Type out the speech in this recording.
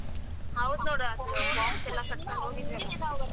ಹೌದ್ ನೋಡು .